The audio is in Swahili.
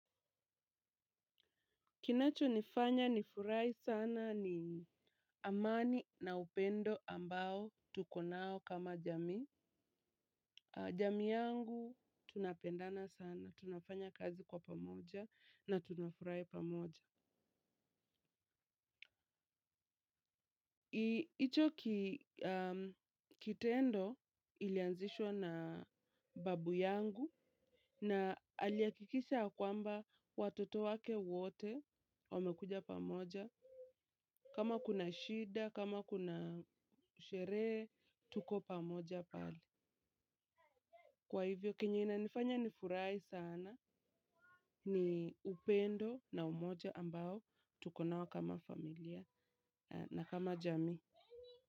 Kinacho nifanya nifurahu sana ni amani na upendo ambao tuko nao kama jamii. Jami yangu tunapendana sana. Tunafanya jazi kwa pamoja na tunafurahi pamoja. Hicho kitendo ilianziswa na babu yangu na aliakikisha ya kwamba watoto wake wote wamekuja pamoja. Kama kuna shida, kama kuna sherehe, tuko pamoja pale. Kwa hivyo, kenye inifanya nifurahi sana ni upendo na umoja ambao tuko nao kama familia na kama jami.